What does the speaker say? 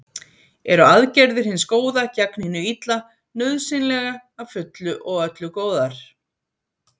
Eru aðgerðir hins góða gegn hinu illa nauðsynlega að fullu og öllu góðar?